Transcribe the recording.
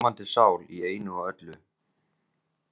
Ljómandi sál í einu og öllu.